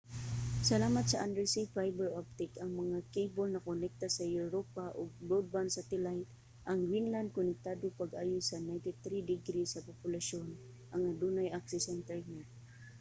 salamat sa undersea fiber optic ang mga kable nakonekta sa europa ug broadband satellite ang greenland konektado pag-ayo sa 93% sa populasyon ang adunay access sa internet